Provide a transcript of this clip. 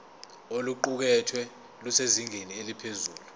oluqukethwe lusezingeni eliphezulu